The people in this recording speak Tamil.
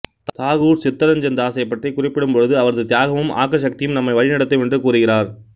தாகூர் சித்தரஞ்சன் தாஸைப் பற்றிக் குறிப்பிடும் பொழுது அவரது தியாகமும் ஆக்கசக்தியும் நம்மை வழிநடத்தும் என்று கூறுகிறார்